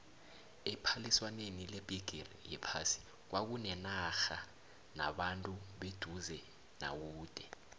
ephaliswaneni lebhigiri yephasi kwakuneenarha nabantu beduze nakude